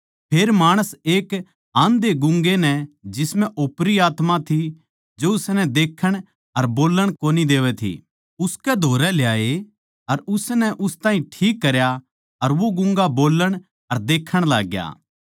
फेर माणस एक आंधेगूँगे नै जिसम्ह ओपरी आत्मा थी जो उसनै देखण अर बोल्लण कोनी देवै थी उसकै धोरै ल्याए अर उसनै उस ताहीं ठीक करया अर वो गूँगा बोलण अर देखण लाग्या